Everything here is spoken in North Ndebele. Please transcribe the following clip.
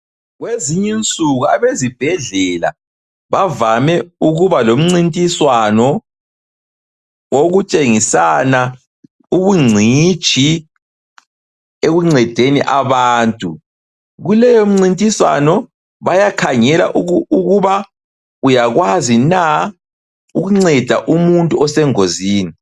Kwezinye insuku abezibhedlela bavame ukuba lomncintiswano wokutshengisana ubungcitshi ekuncedeni abantu, kuleyo mncintiswano bayakhangela ukuba uyakwazi na ukunceda umuntu osengozini.